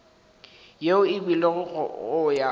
yeo e beilwego go ya